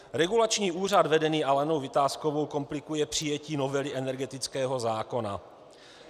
Regulační úřad vedený Alenou Vitáskovou komplikuje přijetí novely energetického zákona.